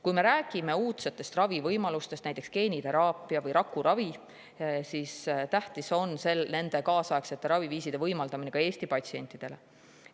Kui me räägime uudsetest ravivõimalustest, näiteks geeniteraapiast või rakuravist, siis on tähtis neid kaasaegseid raviviise võimaldada ka Eesti patsientidele.